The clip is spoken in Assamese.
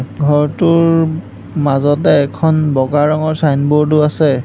ঘৰটোৰ মাজতে এখন বগা ৰঙৰ চাইনবৰ্ড ও আছে।